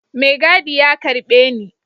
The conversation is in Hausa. Mai gadi ya karbe Ni.